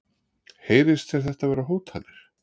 Heyrist þér þetta vera hótanir?